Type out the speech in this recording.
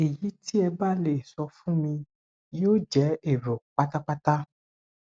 ẹyí tí ẹ bá le sọ fún mi yóò jẹ èrò pátápátá